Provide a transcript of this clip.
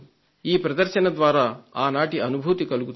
ఈ ప్రదర్శన ద్వారా ఆనాటి అనుభూతి కలుగుతుంది